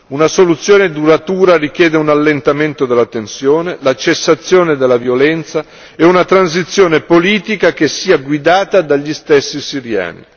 Una soluzione duratura richiede un allentamento della tensione, la cessazione della violenza e una transizione politica che sia guidata dagli stessi siriani.